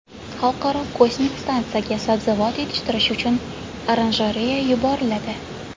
Xalqaro kosmik stansiyaga sabzavot yetishtirish uchun oranjereya yuboriladi.